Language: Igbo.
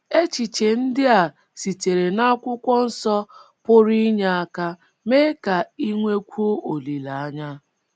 Echiche ndị a sitere n’Akwụkwọ Nsọ pụrụ inye aka mee ka i nwekwuo olileanya: